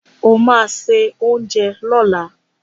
O ma se oúnjẹ lọ́la!